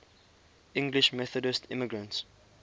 english methodist immigrants